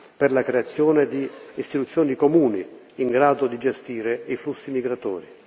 per la creazione di istituzioni comuni in grado di gestire i flussi migratori.